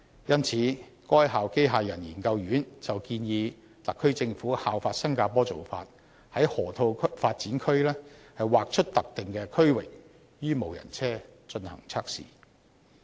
因此，該校機械人研究院建議特區政府效法新加坡的做法，在河套發展區劃出特定區域予無人車進行測試。